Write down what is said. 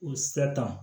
O siratan